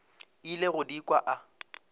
ile go di kwa a